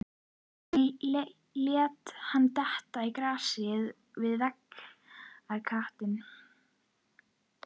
Hann lét hann detta í grasið við vegarkantinn.